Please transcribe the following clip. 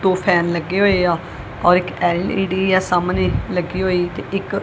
ਦੋ ਫੈਨ ਲੱਗੇ ਹੋਏਆ ਔਰ ਇੱਕ ਐਲ_ਈ_ਡੀ ਹੈ ਸਾਹਮਣੇ ਲੱਗੀ ਹੋਈ ਤੇ ਇੱਕ--